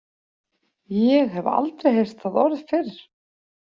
Ég hef aldrei heyrt það orð fyrr.